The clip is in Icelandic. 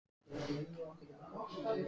ÞORVALDUR: Skúli sló hann út af laginu.